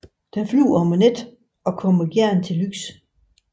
Den flyver om natten og kommer gerne til lys